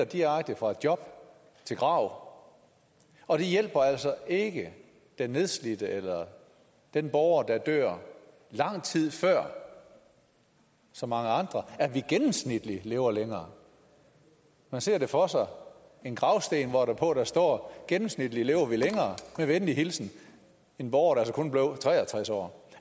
direkte fra job til grav og det hjælper altså ikke den nedslidte eller den borger der dør lang tid før så mange andre at vi gennemsnitligt lever længere man ser det for sig en gravsten hvorpå der står gennemsnitligt lever vi længere med venlig hilsen en borger der altså kun blev tre og tres år